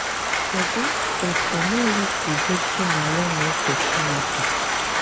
Kedụ otú Meri sì gosi na ya na-èfè Chineke?